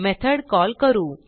method call करू